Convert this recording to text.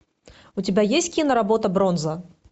у тебя есть киноработа бронза